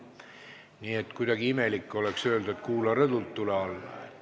Nii et kuidagi imelik oleks öelda, et kuula rõdult ja tule alla.